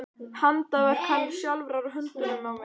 Handaverk hennar sjálfrar á höndunum á mér!